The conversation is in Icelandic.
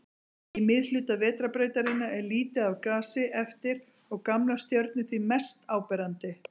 Í miðhluta Vetrarbrautarinnar er lítið af gasi eftir og gamlar stjörnur því mest áberandi.